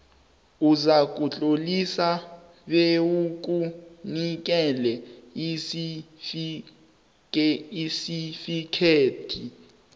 uzakutlolisa bewukunikele isitifikhethi